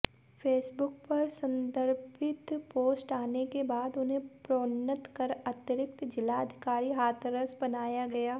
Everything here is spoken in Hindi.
फेसबुक पर संदर्भित पोस्ट आने के बाद उन्हें प्रोन्नत कर अतिरिक्त जिलाधिकारी हाथरस बनाया गया